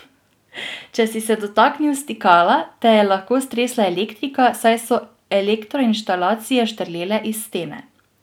Če si se dotaknil stikala, te je lahko stresla elektrika, saj so elektroinštalacije štrlele iz stene.